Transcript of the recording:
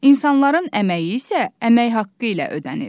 İnsanların əməyi isə əmək haqqı ilə ödənilir.